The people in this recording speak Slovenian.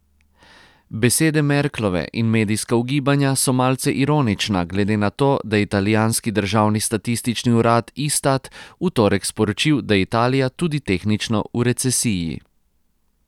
Besede Merklove in medijska ugibanja so malce ironična glede na to, da je italijanski državni statistični urad Istat v torek sporočil, da je Italija tudi tehnično v recesiji.